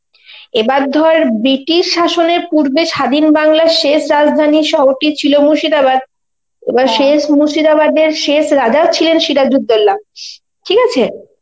এবার ধর british শাসনের পূর্বে স্বাধীন বাংলার শেষ রাজধানীর শহরটি ছিল মুর্শিদাবাদ, এবার শেষ মুর্শিদাবাদের শেষ রাজাও ছিলেন সিরাজউদ্দৌলা, ঠিক আছে?